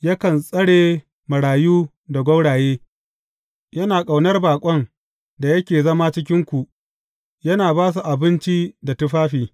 Yakan tsare marayu da gwauraye, yana ƙaunar baƙon da yake zama a cikinku, yana ba su abinci da tufafi.